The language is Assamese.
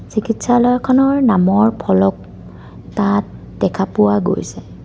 চিকিৎসালয়খনৰ নামৰ ফলক তাত দেখা পোৱা গৈছে।